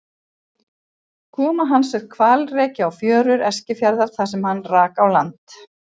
Koma hans er hvalreki á fjörur Eskifjarðar þar sem hann rak á land.